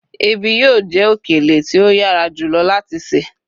ebi yíò je okele ti o yara jùlọ láti se